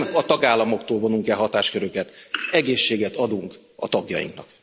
Nem a tagállamoktól vonunk el hatásköröket, egészséget adunk a tagjainknak.